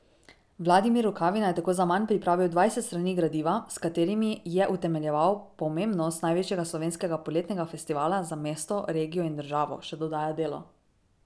Vladimir Rukavina je tako zaman pripravil dvajset strani gradiva, s katerimi je utemeljeval pomembnost največjega slovenskega poletnega festivala za mesto, regijo in državo, še dodaja Delo.